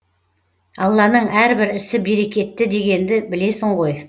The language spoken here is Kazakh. алланың әрбір ісі берекетті дегенді білесің ғой